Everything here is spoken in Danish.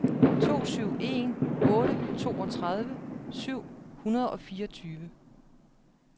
to syv en otte toogtredive syv hundrede og fireogtyve